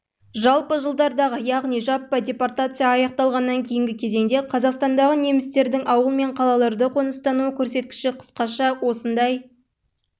жалпы жылдардағы яғни жаппай депортация аяқталғаннан кейінгі кезеңде қазақстандағы немістердің ауыл мен қалаларда қоныстану көрсеткіші қысқаша осындай